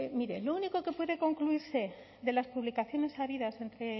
mire lo único que puede concluirse de las publicaciones habidas entre